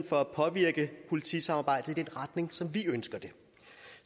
for at påvirke politisamarbejdet i den retning som vi ønsker det